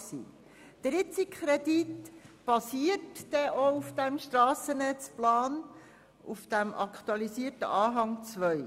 Der jetzige Kredit basiert denn auch auf dem Strassennetzplan und dem aktualisierten Anhang 2.